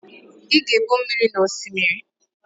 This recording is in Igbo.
Ị ga-egbu mmiri na Osimiri?